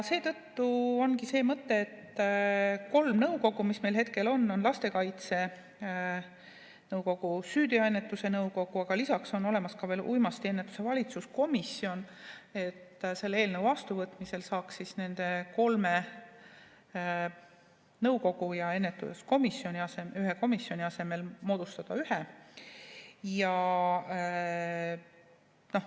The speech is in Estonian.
Seetõttu ongi see mõte, et nende nõukogu asemel, mis meil hetkel on – lastekaitse nõukogu ja süüteoennetuse nõukogu –, lisaks on ka uimastiennetuse valitsuskomisjon, et nende kolme asemel saaks moodustada ühe.